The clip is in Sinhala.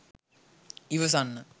ඉවසන්න